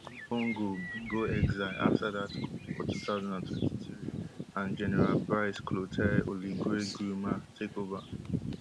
ali bongo bin go exile afta dat coup for two thousand and twenty-three and general brice clotaire oligui nguema take ova